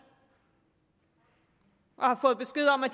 og har fået besked om at